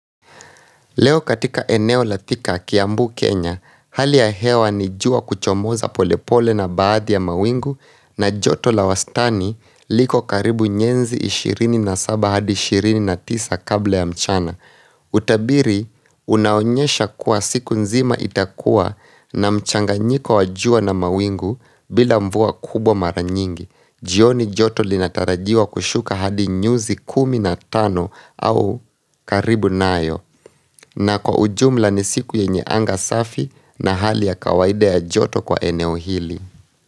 Leo katika eneo la Thika Kiambu, Kenya, hali ya hewa ni jua kuchomoza polepole na baadhi ya mawingu na joto la wastani liko karibu nyenzi 27 hadi 29 kabla ya mchana. Utabiri, unaonyesha kuwa siku nzima itakua na mchanganyiko wa jua na mawingu bila mvua kubwa maranyingi. Jioni joto linatarajiwa kushuka hadi nyuzi kumi na tano au karibu nayo na kwa ujumla ni siku yenye anga safi na hali ya kawaida ya joto kwa eneo hili.